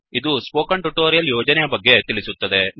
ಇದು ಈ spoken tutorial ಯೋಜನೆಯ ಬಗ್ಗೆ ತಿಳಿಸುತ್ತದೆ